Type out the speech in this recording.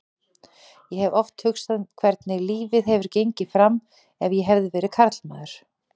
Ég hef oft hugsað hvernig lífið hefði gengið fram ef ég hefði verið karlmaður.